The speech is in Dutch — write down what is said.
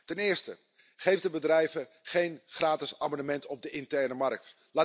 Ten eerste geef de bedrijven geen gratis abonnement op de interne markt.